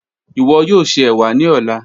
Iwọ yoo ṣe ewa ni ọla.